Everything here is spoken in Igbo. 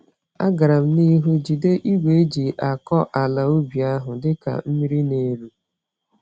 Agaram n'ihu jide igwe eji-akọ-àlà-ubi ahụ dịka mmírí n'eru